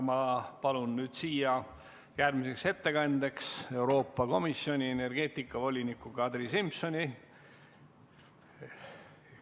Ma palun nüüd siia järgmiseks ettekandeks Euroopa Komisjoni energeetikavoliniku Kadri Simsoni.